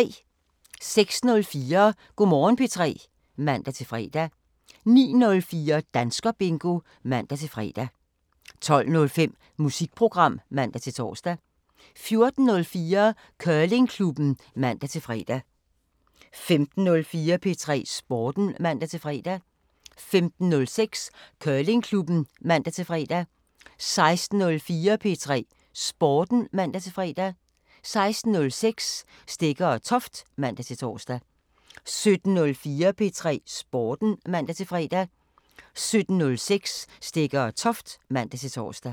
06:04: Go' Morgen P3 (man-fre) 09:04: Danskerbingo (man-fre) 12:05: Musikprogram (man-tor) 14:04: Curlingklubben (man-fre) 15:04: P3 Sporten (man-fre) 15:06: Curlingklubben (man-fre) 16:04: P3 Sporten (man-fre) 16:06: Stegger & Toft (man-tor) 17:04: P3 Sporten (man-fre) 17:06: Stegger & Toft (man-tor)